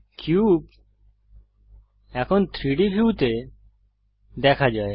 cube এখন 3ডি ভিউতে দেখা যায়